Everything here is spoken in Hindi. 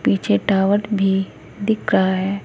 पीछे टावर भी दिख रहा है।